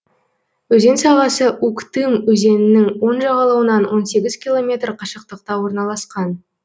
өзен сағасы уктым өзенінің оң жағалауынан он сегіз километр қашықтықта орналасқан